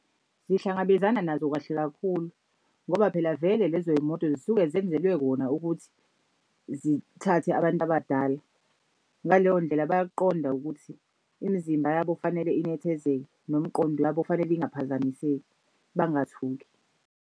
Zihlangabezana nazo kahle kakhulu ngoba phela vele lezo yimoto zisuke zenzelwe kona ukuthi zithathe abantu abadala. Ngaleyo ndlela bayakuqonda ukuthi imizimba yabo fanele inethezeke nomqondo yabo fanele ingaphazamiseki, bangathuki.